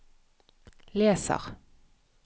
leser